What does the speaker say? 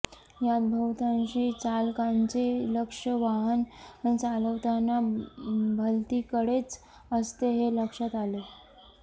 यात बहुतांशी चालकांचे लक्ष वाहन चालवताना भलतीकडेच असते हे लक्षात आले